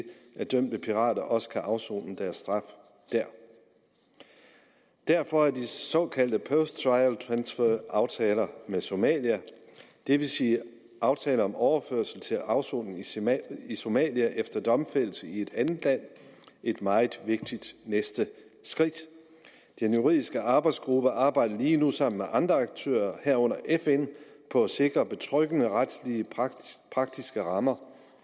at dømte pirater også kan afsone deres straf der derfor er de såkaldte post trial transfer aftaler med somalia det vil sige aftaler om overførsel til afsoning i somalia i somalia efter domfældelse i et andet land et meget vigtigt næste skridt den juridiske arbejdsgruppe arbejder lige nu sammen med andre aktører herunder fn på at sikre betryggende retslige praktiske rammer